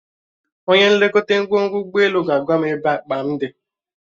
Onye nlekọta ngwongwo ụgbọelu ga-agwa m ebe akpa m dị